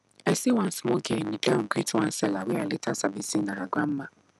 i see one small girl kneel down greet one seller wey i later sabi say na her grandma